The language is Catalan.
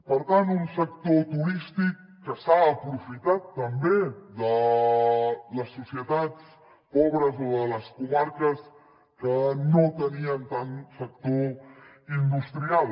per tant un sector turístic que s’ha aprofitat també de les societats pobres o de les comarques que no tenien tant sector industrial